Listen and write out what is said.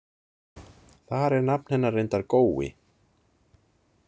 Þar er nafn hennar reyndar Gói.